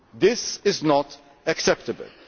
This is not acceptable.